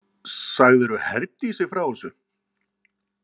Sagðirðu Herdísi frá þessu?